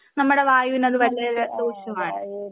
നമ്മുടെ വായുവിനത് വലിയ ദോഷമാണ്